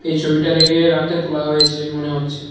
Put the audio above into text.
এই ছবিটা দেখে রাতে তোলা হয়েছে মনে হচ্ছে।